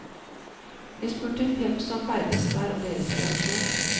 Vi spurte fem som ferdes der om deres reaksjon.